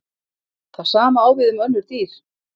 það sama á við um önnur dýr